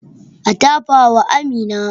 A tafa wa Amina